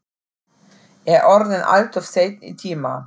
Er orðinn alltof seinn í tíma.